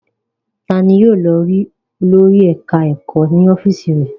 Ta ni yóò lọ rí olórí ẹ̀ka-ẹ̀kọ́ ní ọ́fíísì rẹ̀?